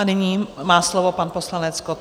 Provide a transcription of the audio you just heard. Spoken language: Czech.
A nyní má slovo pan poslanec Kott.